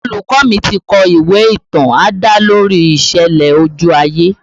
Olùkọ́ mi ti kọ ìwé ìtàn adalori ìṣẹ̀lẹ̀ ojú ayé